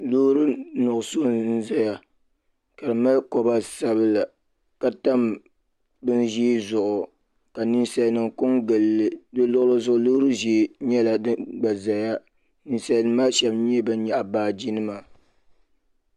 Loori nuɣuso n zaya ka di mali koba sabla ka tam bini ʒee zuɣu ka ninsalinima kon gilili di luɣili zuɣu loori ʒee nyɛla din gba zaya ninsalinima maa sheba nyɛla ban nyaɣi baaji nima.